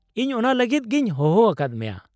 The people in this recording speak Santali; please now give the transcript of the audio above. ᱤᱧ ᱚᱱᱟ ᱞᱟᱹᱜᱤᱫ ᱜᱤᱧ ᱦᱚᱦᱚ ᱟᱠᱟᱫ ᱢᱮᱭᱟ ᱾